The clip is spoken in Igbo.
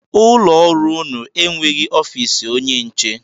Ụlọọrụ unu enweghị ofiisi onye nche?